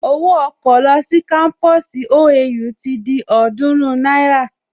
Owó ọkọ̀ lọ sí kámpusi OAU ti di ọ̀ọ́dúrún náírà